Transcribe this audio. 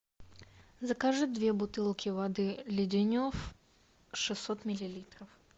закажи две бутылки воды леденев шестьсот миллилитров